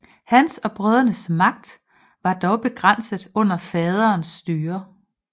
Hans og brødrenes magt var dog begrænset under faderens styre